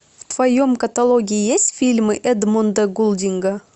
в твоем каталоге есть фильмы эдмунда гулдинга